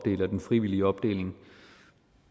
en frivillig opdeling